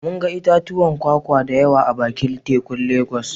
Mun ga itatuwan kwakwa da yawa a bakin tekun Legas